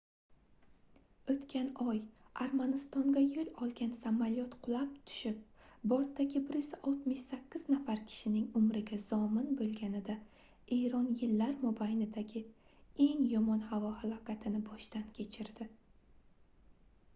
oʻtgan oy armanistonga yoʻl olgan samolyot qulab tushib bortdagi 168 nafar kishining umriga zomin boʻlganida eron yillar mobaynidagi eng yomon havo halokatini boshdan kechirdi